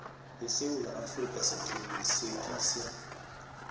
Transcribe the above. esewula afrika siqinisekise